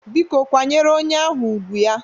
Biko kwanyere onye ahụ ùgwù ya!